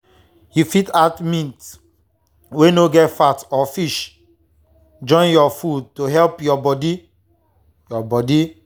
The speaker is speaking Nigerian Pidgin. you fit add meat wey no get fat or fish join your food to help your body. your body.